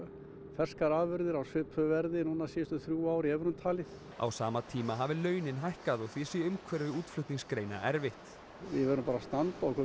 ferskar afurðir á svipuðu verði síðustu þrjú ár í evrum talið á sama tíma hafi launin hækkað og því sé umhverfi útflutningsgreina erfitt við verðum bara að standa okkur